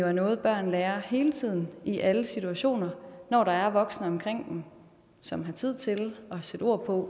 er noget børn lærer hele tiden i alle situationer når der er voksne omkring dem som har tid til at sætte ord på